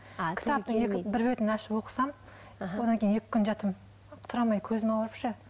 бір бетін ашып оқысам аха одан кейін екі күн жатамын тұра алмай көзім ауырып ше